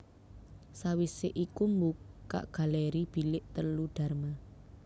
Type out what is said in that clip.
Sawise iku mbuka galeri Bilik telu Dharma